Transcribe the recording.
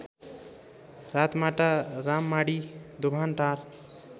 Ratmata Rammadhi Dobhantar